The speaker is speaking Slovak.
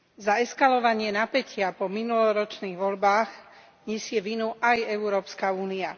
Za eskalovanie napätia po minuloročných voľbách nesie vinu aj Európska únia.